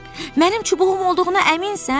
Mənim çubuğum olduğuna əminsən?